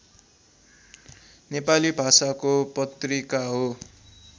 नेपाली भाषाको पत्रिका हो